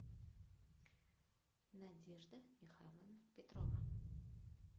надежда михайловна петрова